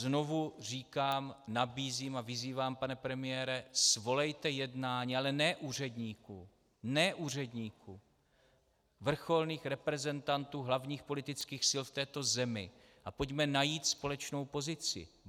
Znovu říkám, nabízím a vyzývám, pane premiére, svolejte jednání, ale ne úředníků, ne úředníků, vrcholných reprezentantů hlavních politických sil v této zemi a pojďme najít společnou pozici.